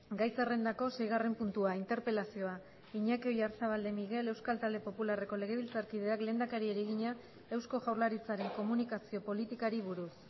gai zerrendako seigarren puntua interpelazioa iñaki oyarzabal de miguel euskal talde popularreko legebiltzarkideak lehendakariari egina eusko jaurlaritzaren komunikazio politikari buruz